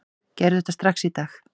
Gerðu þetta strax í dag!